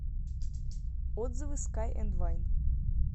отзывы скай энд вайн